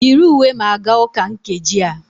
Yiri uwe ma gaa ụka nkeji a!